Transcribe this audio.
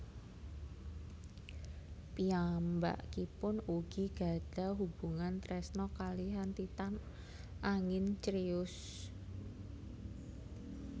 Piyambakipun ugi gadhah hubungan tresna kalihan Titan angin Crius